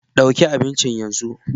Ɗauki abincin yanzu